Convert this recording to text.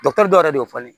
dɔw yɛrɛ de y'o fɔ